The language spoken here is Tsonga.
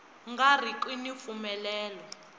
nga ri ki ni mpfumelelo